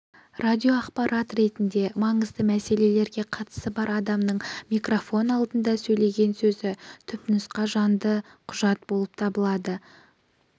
радиоақпарат ретінде маңызды мәселеге қатысы бар адамның микрофон алдында сөйлеген сөзі түпнұсқа жанды құжат болып табылады